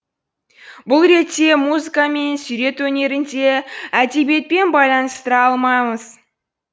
бұл ретте музыка мен сурет өнерін де әдебиетпен байланыстыра алмаймыз